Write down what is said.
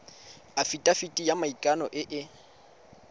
afitafiti ya maikano e e